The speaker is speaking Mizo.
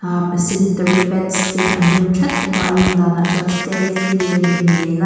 am sanitary pads te an rem that bawka a lan danah chuan stayfree a nih hmel a.